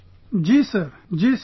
Ji Sir, Ji Sir